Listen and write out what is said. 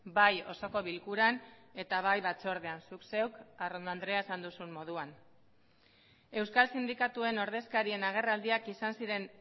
bai osoko bilkuran eta bai batzordean zuk zeuk arrondo andrea esan duzun moduan euskal sindikatuen ordezkarien agerraldiak izan ziren